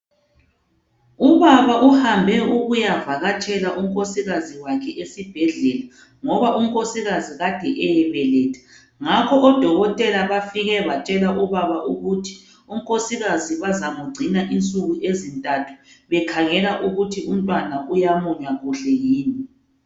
Ubaba uhambe ukuyavakatshela unkosikaze wakhe esibhedlela ngoba unkosikaze kade eyebeletha. Ngakho odokotela bafike batshela ubaba ukuthi unkosikaze bazamgcina insuku ezintathu bekhangela ukuthi umntwana uyamunya kuhle